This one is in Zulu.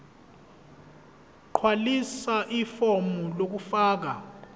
gqwalisa ifomu lokufaka